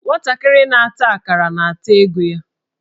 Nwantakịrị na-ata akará, na-ata ego ya